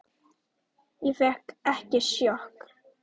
Ég fékk ekki sjokk.